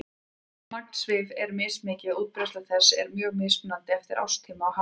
Magn svifs er mismikið og útbreiðsla þess er mjög mismunandi eftir árstíma og hafsvæðum.